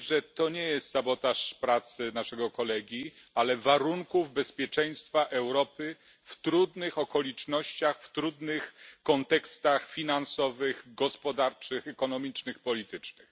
to nie jest sabotaż pracy naszego kolegi, ale warunków bezpieczeństwa Europy w trudnych okolicznościach, w trudnych kontekstach finansowych, gospodarczych, ekonomicznych, politycznych.